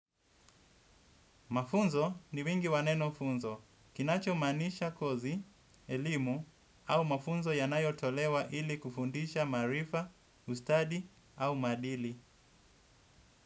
Mafunzo ni wingi wa neno funzo, kinachomaanisha kozi, elimu au mafunzo yanayotolewa ili kufundisha maarifa, ustadi au maarifa.